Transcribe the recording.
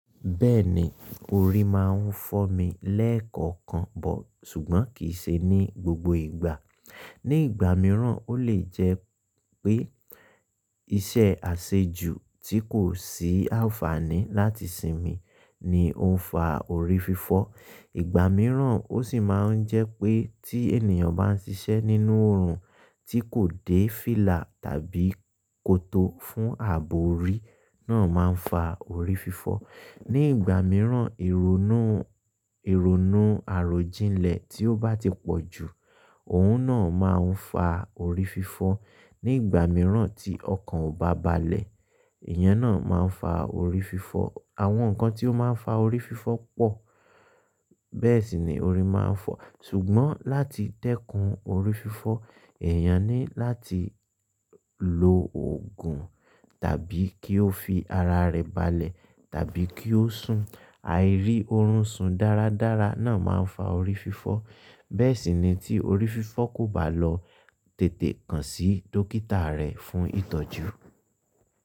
Bẹ́ẹ̀ni, orí máa ń fọ́mi lẹ́ẹ̀kọ̀kan, bọ̀ ṣùgbọ́n kì í ṣe ní gbogbo ìgbà. Ní ìgbà mìíràn, ó lè jẹ́ pé iṣẹ́ àṣejù tí kò sí àǹfààní láti sinmi ni ó ń fa orí fífọ́. Ìgbà mìíràn ó sì máa ń jẹ́ pé tí ènìyàn bá ń ṣiṣẹ́ nínú oòrùn tí kò dé fílà tàbí kòtó fún ààbò, orí náà máa ń fa orí fífọ́. Ní ìgbà mìíràn, irò inú, irò inú àròjinlẹ̀ tí ó bá ti pọ̀ jù, òun náà máa ń fa orí fífọ́. Ní ìgbà mìíràn tí ọkàn ò bá balẹ̀, iyẹn náà máa ń fa orí fífọ́. Àwọn nǹkan tí ó máa ń fa orí fífọ́ pọ̀. Bẹ́ẹ̀ sì ni orí máa ń fọ́. Ṣùgbọ́n láti dẹ́kun orí fífọ́, èèyàn ní láti lo òògùn tàbí kí ó fi ara rẹ̀ balẹ̀ tàbí kí ó sùn. Àìrí oorun sun dáradára náà máa ń fa orí fífọ́. Bẹ́ẹ̀ sì ni tí orí fífọ́ kò bá lọ, tètè kàn sí dókítà rẹ fún ìtọ́jú.